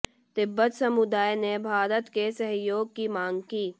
तिब्बत समुदाय ने भारत के सहयोग की मांग की